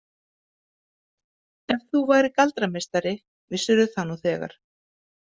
Ef þú værir galdrameistari vissirðu það nú þegar.